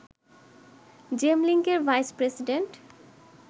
জেমলিংকের vice president